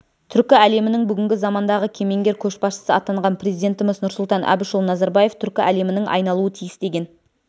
түркі әлемінің бүгінгі замандағы кемеңгер көшбасшысы атанған президентіміз нұрсұлтан әбішұлы назарбаев түркі әлемінің айналуы тиіс деген